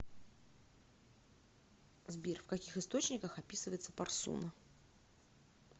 сбер в каких источниках описывается парсуна